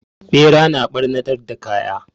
Ɓera na ɓarnatar da kaya.